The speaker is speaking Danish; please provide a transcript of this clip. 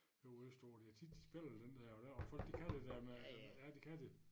Ude øst på de har tit spillet den dér og dér og folk de kan det dér med ja det kan de